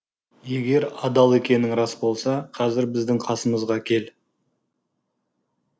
егер адал екенің рас болса қазір біздің қасымызға кел